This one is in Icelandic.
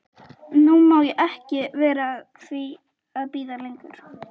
Nú má ég ekki vera að því að bíða lengur.